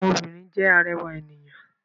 Àwọn obìrin jẹ́ arẹwà ènìyàn.